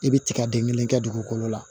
I bɛ tiga den kelen kɛ dugukolo la